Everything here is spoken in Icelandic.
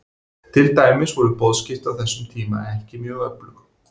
Til dæmis voru boðskipti á þessum tíma ekki mjög öflug.